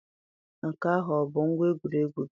Nke ahụ ọ bụ ngwa egwuregwu gị?